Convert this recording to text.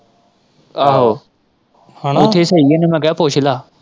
ਆਹੋ ਇੱਥੇ ਸਹੀ ਹੈ ਮੈਂ ਇਹਨੂੰ ਕਿਹਾ ਪੁੱਛ ਲੈ।